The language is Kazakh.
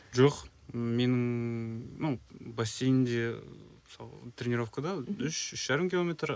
жоқ менің ну бассейнде мысалы тренеровкада үш үш жарым километр